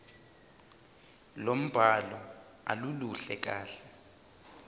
lombhalo aluluhle kahle